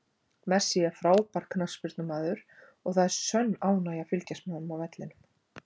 Messi er frábær knattspyrnumaður og það er sönn ánægja að fylgjast með honum á vellinum.